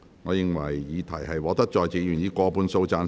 我認為議題獲得在席議員以過半數贊成。